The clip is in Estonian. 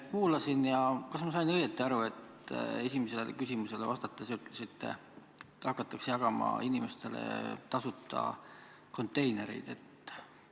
Kuulasin teid ja kas ma sain õigesti aru, et esimesele küsimusele vastates te ütlesite, et inimestele hakatakse jagama tasuta konteinereid?